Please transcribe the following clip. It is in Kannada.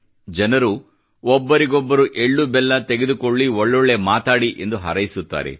ಜನರು ಒಬ್ಬರಿಗೊಬ್ಬರು ಎಳ್ಳು ಬೆಲ್ಲ ತೆಗೆದುಕೊಳ್ಳಿ ಮತ್ತು ಒಳ್ಳೊಳ್ಳೆ ಮಾತಾಡಿ ಎಂದು ಹಾರೈಸುತ್ತಾರೆ